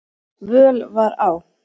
völ var á.